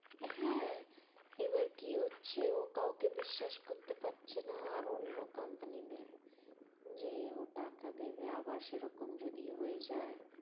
হ্যাঁ এবার কি হচ্ছে ও কাউকে বিশ্বাস করতে পাচ্ছে না আর অন্য কোম্পানিদের যে ও টাকা দেবে আবার সেরকম যদি হয়ে যায়